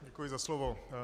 Děkuji za slovo.